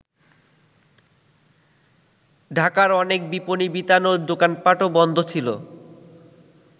ঢাকার অনেক বিপনী বিতান ও দোকানপাটও বন্ধ ছিল।